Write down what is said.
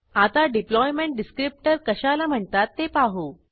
आता deployment descriptor कशाला म्हणतात ते पाहू